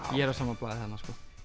ég er á sama blaði þarna